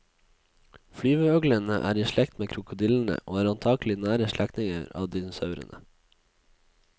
Flyveøglene er i slekt med krokodillene og er antagelig nære slektninger av dinosaurene.